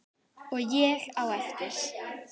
Og ég á eftir.